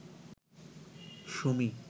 Sumi